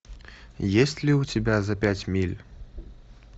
есть ли у тебя за пять миль